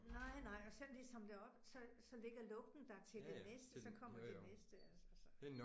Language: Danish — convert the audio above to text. Nej nej. Og selvom de samler det op, så så ligger lugten der til de næste, så kommer de næste altså så